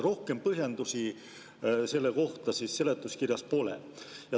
Rohkem põhjendusi selle kohta seletuskirjas pole.